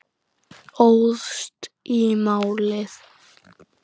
Óðst í málið.